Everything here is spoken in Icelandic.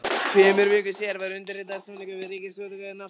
Tveimur vikum síðar var undirritaður samningur við Ríkisútgáfu námsbóka.